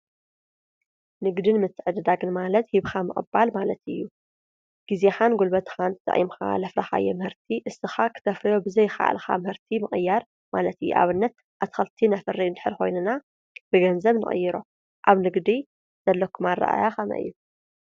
ንግድን ምትዕድዳግን ማለት ሂብካ ምቅባል ማለት እዩ። ግዜኻን ጉልበትካን ተጠቂምኻ ዘፍረካዮም ምህርቲ ንስካ ክተፍርዮም ብዘይከኣልካ ናብ ምህርቲ ምቅያር ማለት እዩ። ንኣብነት ኣትክልቲ ነፍሪ እንድሕር ኮይና ን ገንዘብ ንቅይሮ። ኣብ ንግዲ ዘለኩም ኣረኣእያ ከመይ እዩ?